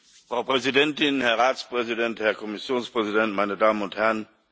Frau Präsidentin, Herr Ratspräsident, Herr Kommissionspräsident, meine Damen und Herren!